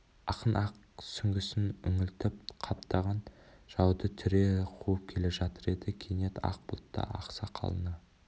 ақын ақ сүңгісін үңілтіп қаптаған жауды түре қуып келе жатыр еді кенет ақ бұлтты ақ сақалына